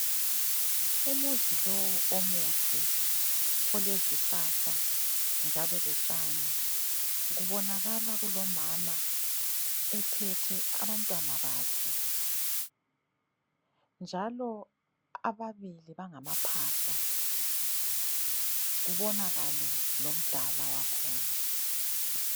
Umuzi lowu omuhle olezihlahla njalo lotshani, kubonakala kulomama ephethe abantwana bakhe njalo ababili bangamaphahla. Kubonakale lomdala wakhona.